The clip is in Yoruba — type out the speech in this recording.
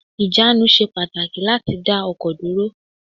Ìjánu ṣe pàtàkì láti dá ọkọ̀ dúró